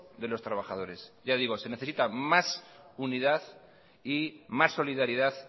de los trabajadores ya digo se necesita más unidad y más solidaridad